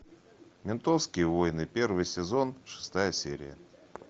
ментовские войны первый сезон шестая серия